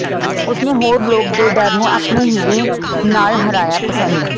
ਉਸ ਨੇ ਹੋਰ ਲੋਕ ਦੇ ਡਰ ਨੂੰ ਆਪਣੇ ਹੀ ਦੇ ਨਾਲ ਹਰਾਇਆ ਪਸੰਦ